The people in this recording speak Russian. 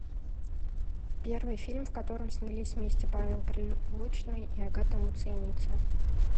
первый фильм в котором снялись вместе павел прилучный и агата муцениеце